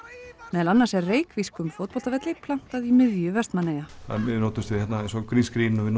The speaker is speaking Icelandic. meðal annars er reykvískum fótboltavelli plantað í miðju Vestmannaeyja við notumst við greenscreen og við